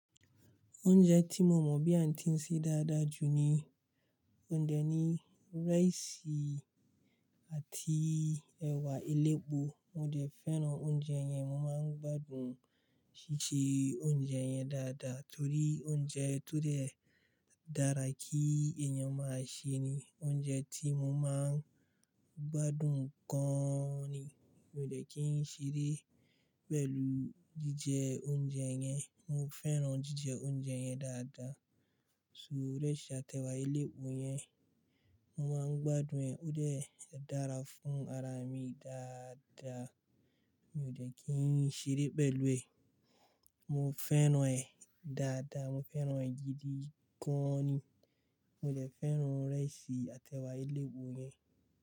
Oúnjẹ tí mo mọ̀ bí a ti ń ṣe dáadáa jù ni oún dẹ ní rice àti ẹ̀wà elépo. Mo dẹ fẹ́ràn oúnjẹ yẹn, mo máa ń gbádùn ṣíṣe oúnjẹ yẹn dáadáa torí oúnjẹ tó dẹ dára kí èèyàn máa ṣe ni oúnjẹ tí mo máa ń gbádùn gan-an ni. Mi o dẹ́ kí ń ṣeré pẹ̀lú jíjẹ oúnjẹ yẹn. Mo fẹ́ràn jíjẹ oúnjẹ yẹn dáadáa. So rice àti ẹ̀wà elépo yẹn mo máa ń gbádùn ẹ̀. Ó dẹ́ dára fún ara mi dáadáa. Mi ò jẹ́ kí ń ṣeré pẹ̀lú ẹ̀. Mo fẹ́ràn ẹ̀ dáadáa, mo fẹ́ràn ẹ̀ gidi gan-an ni. Mo dẹ́ fẹ́ràn rice àti ẹ̀wà elépo yẹn.